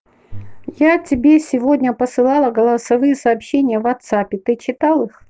я тебе сегодня посылала голосовые сообщения в ватсапе ты читал их